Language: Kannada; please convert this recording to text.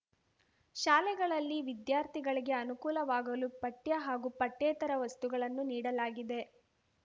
ಶಾಲೆಗಳಲ್ಲಿ ವಿದ್ಯಾರ್ಥಿಗಳಿಗೆ ಅನುಕೂಲವಾಗಲು ಪಠ್ಯ ಹಾಗೂ ಪಠ್ಯೇತರ ವಸ್ತುಗಳನ್ನು ನೀಡಲಾಗಿದೆ